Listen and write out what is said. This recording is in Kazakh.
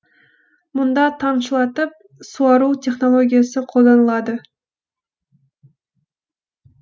мұнда тамшылатып суару технологиясы қолданылады